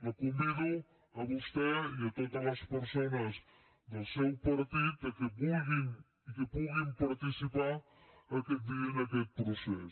la convido a vostè i a totes les persones del seu partit que vulguin i que puguin participar aquest dia en aquest procés